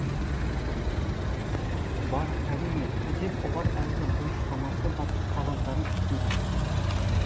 бар әрине деп олар әлгі бұрыштамасы бар қағаздарын ұсынды